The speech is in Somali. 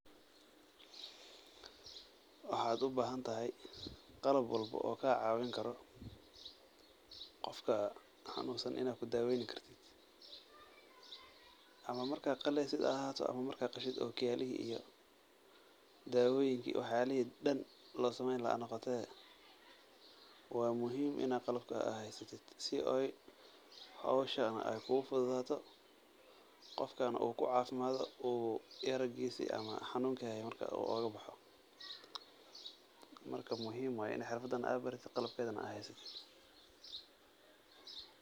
Waxa u bahanthay qalab walbo oo kacawinkoroh, Qoofka xanunsan Ina kudaweetsoh amah marka qaleysit ha ahaato amah marka qasheet ookiyalihi dawoyinka waxyalihi dhan laseeyni lahay noqotoh wamuhim ini qalabka AA haystoh si oo hooshan Aya kugu futhuthatoh, qoofkana oo kucafimathoh, oo gaarkisa amah xanunka Haye marka oo UGA baxoo. marka muhim way Ina xeerfadan AA barateed handibqalabkeetha haystoh.